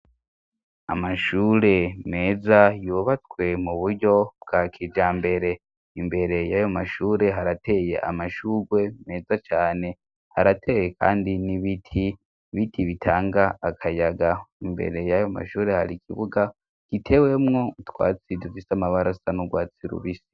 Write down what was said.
Amashure meza yubatswe mu buryo bwa kijambere, imbere y'ayo mashure harateye amashurwe meza cane, harateye kandi n'ibiti, ibiti bitanga akayaga, imbere y'ayo mashure hari ikibuga gitewemwo utwatsi dufise amabara asa n'urwatsi rubisi.